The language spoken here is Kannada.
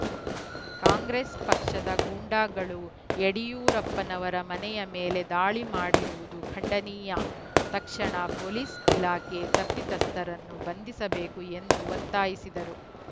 ಕಾಂಗ್ರೆಸ್‌ ಪಕ್ಷದ ಗೂಂಡಾಗಳು ಯಡಿಯೂರಪ್ಪನವರ ಮನೆಯ ಮೇಲೆ ದಾಳಿ ಮಾಡಿರುವುದು ಖಂಡನೀಯ ತಕ್ಷಣ ಪೊಲೀಸ್‌ ಇಲಾಖೆ ತಪ್ಪಿತಸ್ತರನ್ನು ಬಂಧಿಸಬೇಕು ಎಂದು ಒತ್ತಾಯಿಸಿದರು